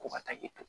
Ko ka taa i to